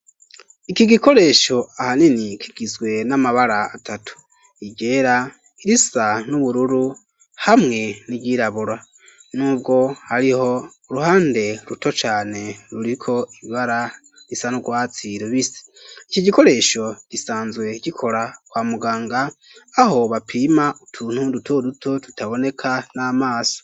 Iki gikoresho ahanini kigizwe n'amabara atatu iryera irisa n'ubururu hamwe n'iryirabura nubwo hariho uruhande ruto cane ruriko ibara r'isa n'urwatsi rubisi iki gikoresho gisanzwe gikora kwa muganga aho bapima utuntu duto duto tutaboneka n'amaso.